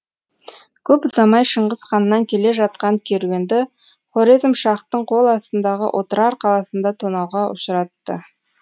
көп ұзамай шыңғыс ханнан келе жатқан керуенді хорезмшахтың қол астындағы отырар қаласында тонауға ұшыратты